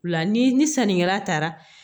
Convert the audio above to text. La ni ni sannikɛla taara